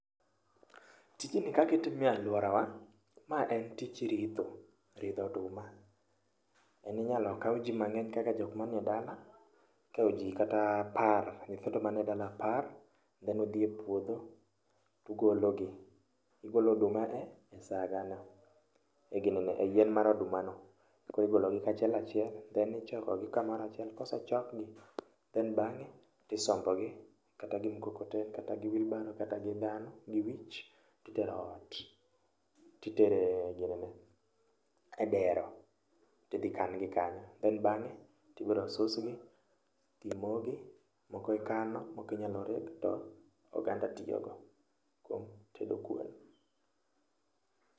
Tijni kaka itime e aluorawa, ma en tij ritho, ridho oduma. En inyalo kaw ji mang'eny kaka jok man edala, ikawo ji kata apar, nyithindo man edala apar, nyalo dhi epuodho to ugolo gi. Ugolo oduma e sagane, e ginene, eyien mar odumano. Koro igologi kachiel achiel then ichokogi kamoro achiel, kosechok gi then bang'e to isombogi kata gi mukokoteni kata gi wheel barrow, kata gidhano gi wich to itero ot. To itero e ginene, edero to idhi kan gi kanyo, then bang'e to ibi susgi, ibi mogi, moko ikano, moko inyalo reg to oganda tiyogo e tedo kuon.